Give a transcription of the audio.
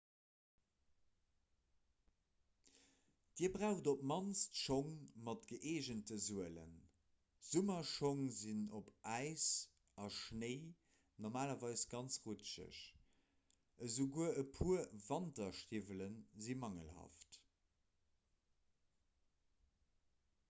dir braucht op d'mannst schong mat gëeegente suelen summerschong sinn op äis a schnéi normalerweis ganz rutscheg esouguer e puer wanterstiwwelen si mangelhaft